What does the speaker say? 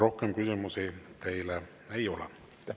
Rohkem küsimusi teile ei ole.